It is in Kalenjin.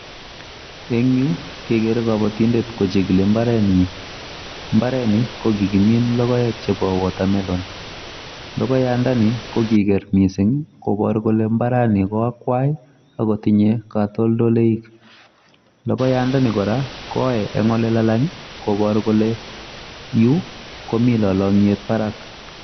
En yuu kegere kabotindet kochigili mbarenyin mbarani kogikimin logoek chepo wotamelon lagoyandani koniger missing koboru kole mbarani ko akwai agotinye katoldoik logoyandani kora koyoe en olelalang koboru kole yuu komi lolongiet barak.